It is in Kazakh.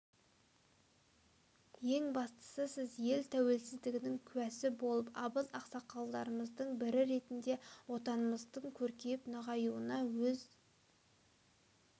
ең бастысы сіз ел тәуелсіздігінің куәсі болып абыз ақсақалымыздың бірі ретінде отанымыздың көркейіп нығаюына өз